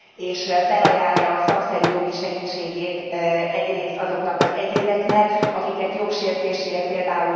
És felajánlja a szakszerű jogi segítségét egyrészt azoknak az egyéneknek, akiket jogsértés ért, pl.